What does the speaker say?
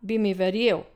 Bi mi verjel?